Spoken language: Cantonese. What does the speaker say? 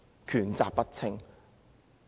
權責不清。